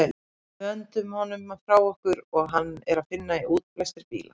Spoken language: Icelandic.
Við öndum honum frá okkur og hann er að finna í útblæstri bíla.